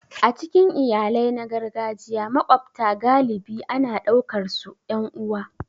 A cikin iyalai na gargajiya, maƙwabta galibi ana ɗaukarsu 'yan uwa.